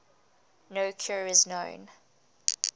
no cure is known